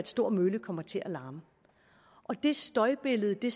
stor mølle kommer til at larme og det støjbillede det